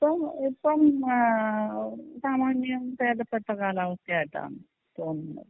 ഇപ്പം ഇപ്പം ഏഹ് സാമാന്യം ഭേദപ്പെട്ട കാലാവസ്ഥയായിട്ടാണ് തോന്നുന്നത്.